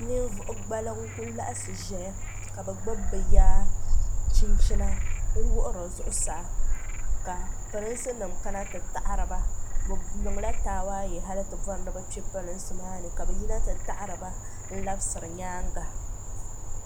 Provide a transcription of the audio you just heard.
ninvuɣu gabliŋ n ku laɣasi ʒɛya ka bi gbubi bi ya chinchina n wuɣiri zuɣusaa ka pirinsi nim kana ti taɣariba bi niŋla taawaayɛ hali ti bori ni bi kpɛ polinsi maa ni ka bi yina ti taɣariba n labisiri nyaanga